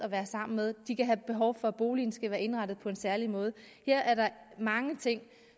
sammen med og de kan have behov for at boligen skal være indrettet på en særlig måde her er der mange ting